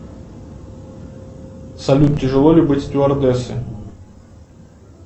салют тяжело ли быть стюардессой